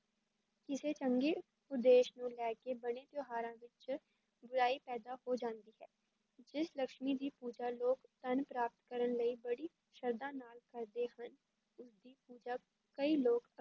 ਕਿਸੇ ਚੰਗੇ ਉਦੇਸ਼ ਨੂੰ ਲੈ ਕੇ ਬਣੇ ਤਿਉਹਾਰਾਂ ਵਿੱਚ ਬੁਰਾਈ ਪੈਦਾ ਹੋ ਜਾਂਦੀ ਹੈ, ਜਿਸ ਲਕਸ਼ਮੀ ਦੀ ਪੂਜਾ ਲੋਕ ਧਨ ਪ੍ਰਾਪਤ ਕਰਨ ਲਈ ਬੜੀ ਸਰਧਾ ਨਾਲ ਕਰਦੇ ਹਨ, ਉਸਦੀ ਪੂਜਾ ਕਈ ਲੋਕ